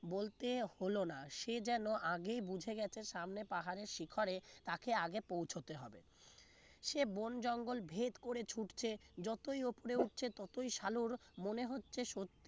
বলতে হলো না সে যেন আগেই বুঝে গেছে সামনে পাহাড়ের শিখরে তাকে আগে পৌঁছাতে হবে সে বন জঙ্গল ভেদ করে ছুটছে যতই উপরে উঠছে ততই সালুর মনে হচ্ছে সত্যি